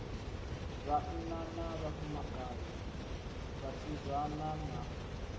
vhanna na vhafumakadzi vhasidzana na